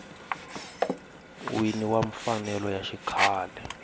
wini wa mfanelo ya xikhale